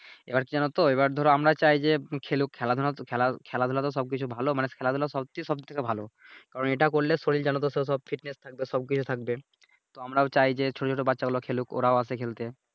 এইবার কি জানোতো এইবার ধরো আমরা চাই যে খেলুক খেলাধুলা তো খেলা খেলাধুলা তো সব কিছু ভালো মানুষ সবচেয়ে সব থেকে ভালো কারন এইটা করলে শরীর জানোতো সব Fitness থাকবে সব কিছু থাকবে